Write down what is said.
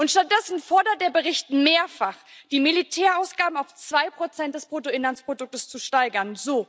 Stattdessen fordert der Bericht mehrfach, die Militärausgaben auf 2 des Bruttoinlandsproduktes zu steigern.